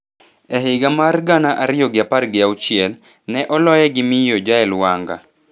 E higa mar gana ariyo gi apar gi auchiel, ne oloye gi Miyo Jael Wanga.